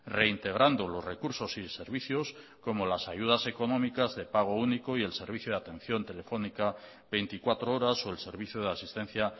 reintegrando los recursos y servicios como las ayudas económicas de pago único y el servicio de atención telefónica veinticuatro horas o el servicio de asistencia